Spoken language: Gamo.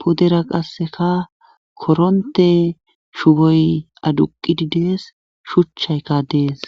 pudera qasseka koronte shugoy aduqidi dees shuchchaykka dees